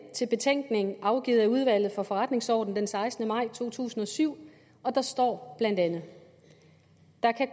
til betænkningen afgivet af udvalget for forretningsordenen den sekstende maj to tusind og syv og der står bla der